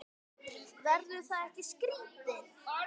Verður það ekki skrítið?